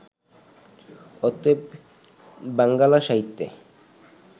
অতএব বাঙ্গালা সাহিত্যে